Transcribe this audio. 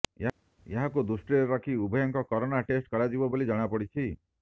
ଏହାକୁ ଦୃଷ୍ଟିରେ ରଖି ଉଭୟଙ୍କ କରୋନା ଟେଷ୍ଟ କରାଯିବ ବୋଲି ଜଣାପଡ଼ିଛି